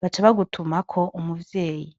baca bagutumako umuvyeyi.